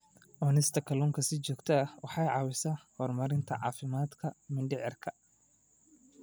Cunista kalluunka si joogto ah waxay caawisaa horumarinta caafimaadka mindhicirka.